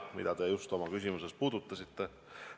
Seda teemat te oma küsimuses puudutasite.